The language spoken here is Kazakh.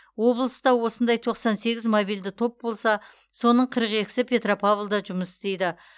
облыста осындай тоқсан сегіз мобильді топ болса соның қырық екісі петропавлда жұмыс істейді